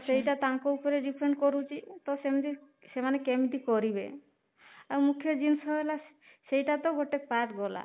ସେଇଟା ତାଙ୍କ ଉପରେ depend କରୁଛି ତ ସେମିତି ସେମାନେ କେମିତି କରିବେ ଆଉ ମୁଖ୍ୟ ଜିନିଷ ହେଲା ସେଇଟା ତ ଗୋଟେ part ଗଲା